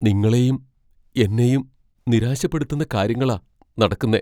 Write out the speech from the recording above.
നിങ്ങളെയും എന്നെയും നിരാശപ്പെടുത്തുന്ന കാര്യങ്ങളാ നടക്കുന്നെ.